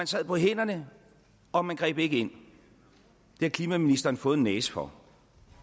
sad på hænderne og man greb ikke ind det har klimaministeren fået en næse for